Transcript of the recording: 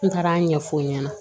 N taara a ɲɛfɔ n ɲɛna